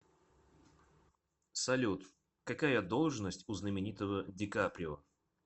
салют какая должность у знаменитого ди каприо